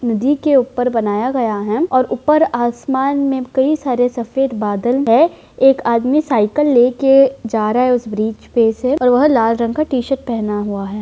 नदी के ऊपर बनाया गया है और ऊपर आसमान में कई सारे सफ़ेद बादल है एक आदमी साइकिल लेकर जा रहा है उस ब्रिज पे से और वह लाल रंग का टीशर्ट पहना हुआ है।